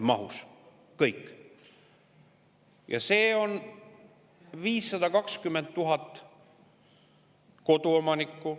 Ja see 520 000 koduomanikku.